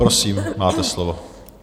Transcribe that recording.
Prosím, máte slovo.